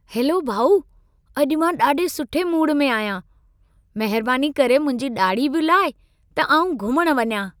Hello भाउ। अॼु मां ॾाढे सुठे मूड में आहियां। महिरबानी करे मुंहिंजी ॾाढ़ी बि लाहे, त आउं घुमण वञा।